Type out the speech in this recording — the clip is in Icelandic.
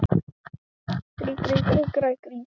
Loftveig, lækkaðu í hátalaranum.